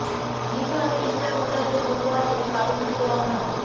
নিজ হাতে ইস্টার মজার জন্য উপহার এবং কারুশিল্প রন্ধন